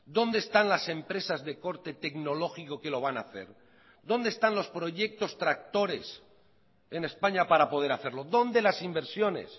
dónde están las empresas de corte tecnológico que lo van a hacer dónde están los proyectos tractores en españa para poder hacerlo dónde las inversiones